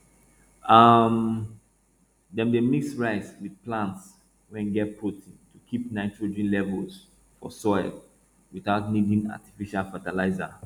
um dem dey mix rice with plants wey get protein to keep nitrogen levels for soil without needing artificial fertilizer